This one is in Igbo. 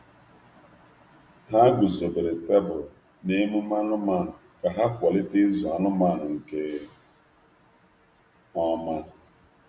Ha wulitere ụlọ ntu na ngosi anụ ụlọ iji kwalite nlekọta um nke ọma. um